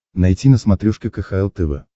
найти на смотрешке кхл тв